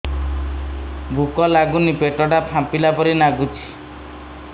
ଭୁକ ଲାଗୁନି ପେଟ ଟା ଫାମ୍ପିଲା ପରି ନାଗୁଚି